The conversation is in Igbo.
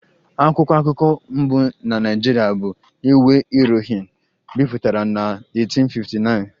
"Akwụkwọ akụkọ mbụ na Naịjirịa bụ ""Iwe Irohin"" bipụtara na 1859"